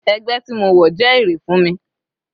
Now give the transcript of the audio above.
Ẹgbẹ́ tí mo wọ̀ jẹ́ èrè fún mi.